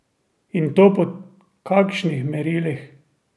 In to po kakšnih merilih?